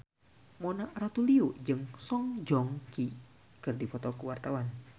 Mona Ratuliu jeung Song Joong Ki keur dipoto ku wartawan